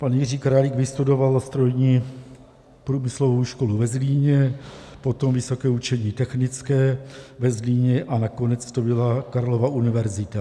Pan Jiří Králík vystudoval Strojní průmyslovou školu ve Zlíně, potom Vysoké učení technické ve Zlíně a nakonec to byla Karlova univerzita.